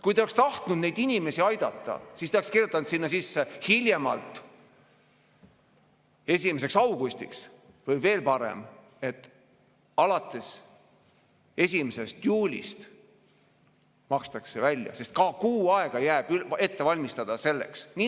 Kui te oleksite tahtnud neid inimesi aidata, siis te oleksite kirjutanud sinna sisse "hiljemalt 1. augustiks" või veel parem "alates 1. juulist makstakse välja", sest ka kuu aega jääb ette valmistada selleks.